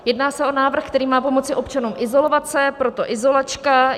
Jedná se o návrh, který má pomoci občanům izolovat se, proto izolačka.